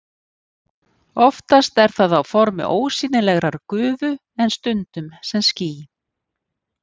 Oftast er það á formi ósýnilegrar gufu en stundum sem ský.